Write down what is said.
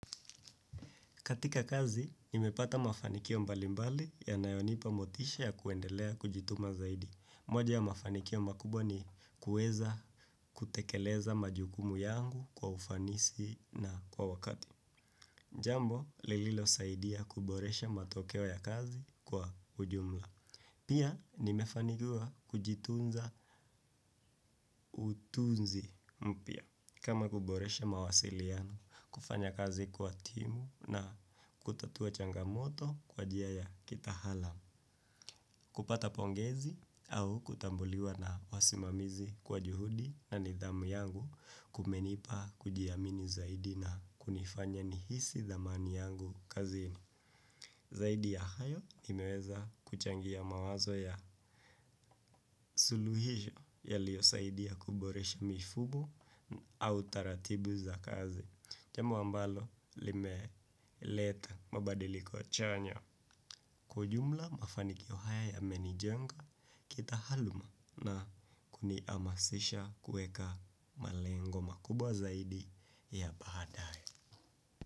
Katika kazi, nimepata mafanikio mbalimbali yanayonipa motisha ya kuendelea kujituma zaidi. Moja ya mafanikio makubwa ni kuweza kutekeleza majukumu yangu kwa ufanisi na kwa wakati. Jambo, lililosaidia kuboresha matokeo ya kazi kwa ujumla. Pia nimefanikiwa kujitunza utunzi mpya. Kama kuboresha mawasiliano, kufanya kazi kwa timu na kutatua changamoto kwa jia ya kitahalam. Kupata pongezi au kutambuliwa na wasimamizi kwa juhudi na nidhamu yangu kumenipa kujiamini zaidi na kunifanya nihisi dhamani yangu kazini. Zaidi ya hayo imeweza kuchangia mawazo ya suluhisho yaliyosaidia kuboresha mifumo au taratibu za kazi. Jambo ambalo limeleta mabadiliko chanya. Kwa ujumla mafanikio haya yamenijenga kitahaluma na kuniamasisha kueka malengo makubwa zaidi ya baadae.